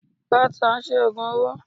Godson ṣe ògùn owó.